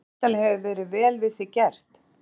Og væntanlega hefur verið vel við þig gert?